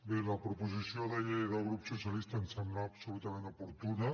bé la proposició de llei del grup socialista em sembla absolutament oportuna